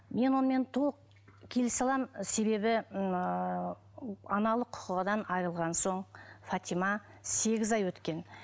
мен онымен толық келісе аламын себебі ыыы аналық құқығынан айрылған соң фатима сегіз ай өткен